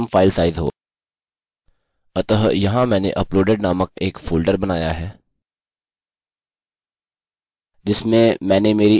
अतः यहाँ मैंने uploaded नामक एक फोल्डर बनाया है जिसमे मैंने मेरी index और upload dot php फाइल्स बनायीं है